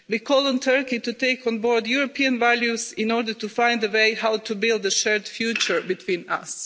We call on Turkey to take on board European values in order to find a way to build a shared future between us.